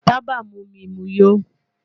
Taba mu mi mu yó